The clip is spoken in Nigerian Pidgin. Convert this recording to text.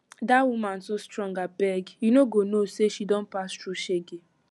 dat woman too strong abeg you no go know say she don pass through shege